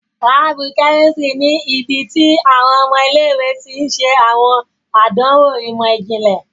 Laabu kẹ́místrì ní ibití awọn ọmọ ilé-ìwé tí n ṣe awọn àdánwò imọ-jinlẹ